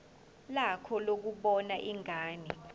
lakho lokubona ingane